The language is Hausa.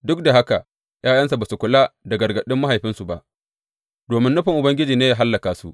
Duk da haka, ’ya’yansa ba su kula da gargaɗin mahaifinsu ba, domin nufin Ubangiji ne yă hallaka su.